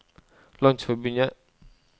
landsforbundet